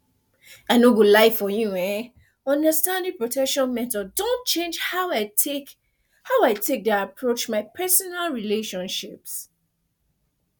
i no go lie for you eh understanding protection methods don change how i take how i take dey approach my personal relationships